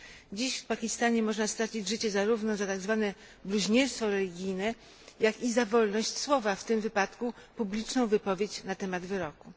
Dziś w Pakistanie można stracić życie zarówno za tak zwane bluźnierstwo religijne, jak i za wolność słowa w tym wypadku publiczną wypowiedź na temat wyroku.